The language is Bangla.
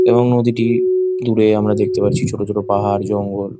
এবং নদীটির দূরে আমার দেখতে পাচ্ছি ছোট ছোট পাহাড় জঙ্গল।